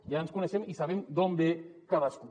ja ens coneixem i sabem d’on ve cadascú